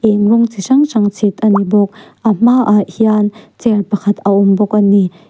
eng rawng chi hrang hrang chhit ani bawk a hmah hian chair pakhat a awm bawk ani.